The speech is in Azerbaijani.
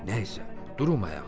Nəysə, durmayaq.